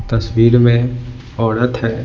तस्वीर में औरत है।